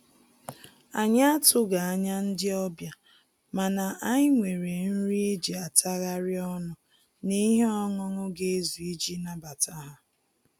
Anyị atụghị anya ndị ọbịa, mana anyị nwere nri e ji atagharị ọnụ na ihe ọńụńụ ga ezu iji nabata ha